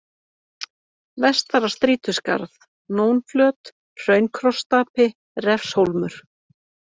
Vestara-Strýtuskarð, Nónflöt, Hraun-Krossstapi, Refshólmur